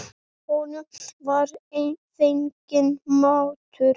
Honum var fenginn matur.